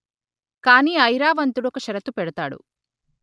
కాని ఐరావంతుడు ఒక షరతు పెడతాడు